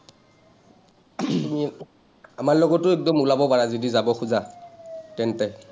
আমাৰ লগতো একদম ওলাব পাৰা যদি যাব খোজা, তেন্তে।